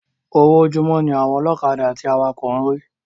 Owó ojúmó ní àwọn ọlọ́kadà àti awakọ̀ ń rí